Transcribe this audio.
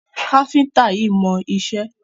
Káfíńńtà yíì mọ iṣẹ́.